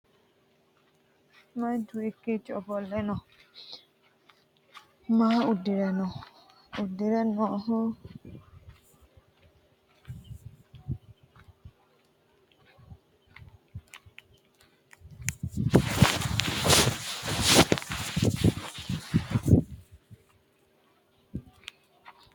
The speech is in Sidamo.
Manchu hiikiicho ofolle no? Maa udire no? Udire noohu kuulu danni hiittooho? Badhesiinni noohu maati? Huxu gidoonni hige leeltano muro su'mi maati?